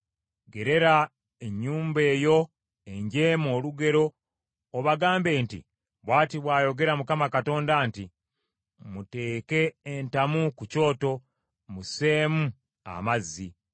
Gerera ennyumba eyo enjeemu olugero obagambe nti, ‘Bw’ati bw’ayogera Mukama Katonda nti, “ ‘Muteeke entamu ku kyoto, musseemu amazzi.